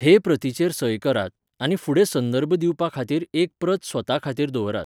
हे प्रतीचेर सय करात, आनी फुडें संदर्भ दिवपा खातीर एक प्रत स्वता खातीर दवरात.